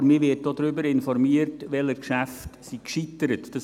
Aber man wird auch darüber informiert, welche Geschäfte gescheitert sind.